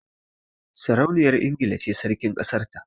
Sarauniyar Ingila ce Sarkin kasar ta